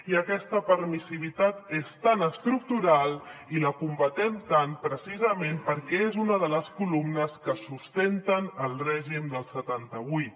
i aquesta permissivitat és tan estructural i la combatem tant precisament perquè és una de les columnes que sustenten el règim del setanta vuit